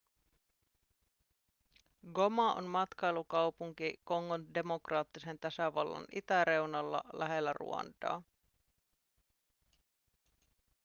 goma on matkailukaupunki kongon demokraattisen tasavallan itäreunalla lähellä ruandaa